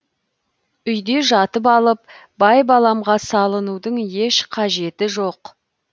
үйде жатып алып байбаламға салынудың еш қажеті жоқ